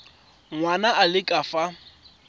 ngwana a le ka fa